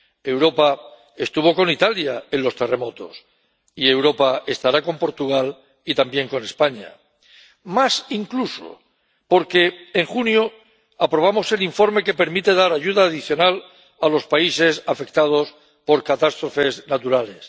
Europa estuvo con Italia en los terremotos, y Europa estará con Portugal y también con España, más incluso porque en junio aprobamos el informe que permite dar ayuda adicional a los países afectados por catástrofes naturales.